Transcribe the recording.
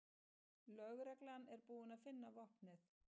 Lögreglan er búin að finna vopnið